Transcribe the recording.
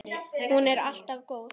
Hún var alltaf góð.